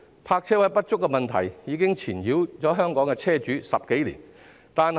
泊車位不足的問題已經纏繞香港車主十多年。